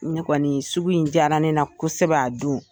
Ne kɔni sugu in diyara ne na kosɛbɛ a don.